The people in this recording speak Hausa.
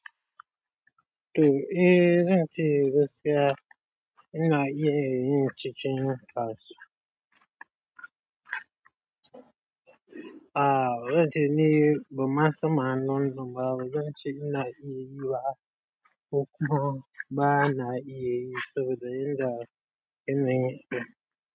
To eh zan ce gaskiya ina iya yin cikin kasuwa. A'a bazan ce ni ban san. Ma'anar manoma bazan ce ina iya yi ba. Kukko ba na iya yi soboda yanda kine.